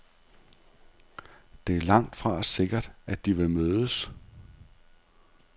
Det er langtfra sikkert, at de vil mødes.